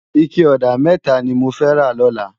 Iké òdá mètá ni mó fè ló lòlá